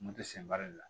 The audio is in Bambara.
Moto sen baara le la